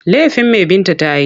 Laifin me Binta ta yi?